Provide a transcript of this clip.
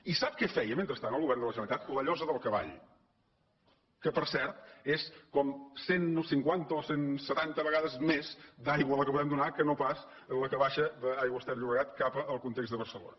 i sap què feia mentrestant el govern de la generalitat la llosa del cavall que per cert és com cent cinquanta o cent setanta vegades més d’aigua la que podem donar que no pas la que baixa d’aigües ter llobregat cap al context de barcelona